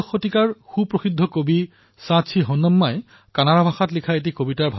কেনে সুন্দৰ শব্দ কেনে বঢ়িয়া ভাব কেনে উত্তম বিচাৰ কন্নড় ভাষাৰ এই কবিতাটোত প্ৰতিফলিত হৈছে